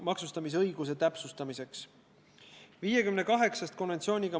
Kas see pole siis tänases Eestis elementaarne?